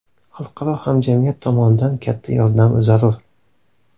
Xalqaro hamjamiyat tomonidan katta yordam zarur.